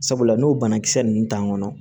Sabula n'o banakisɛ ninnu t'an kɔnɔ